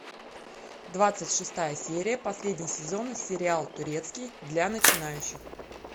двадцать шестая серия последний сезон сериал турецкий для начинающих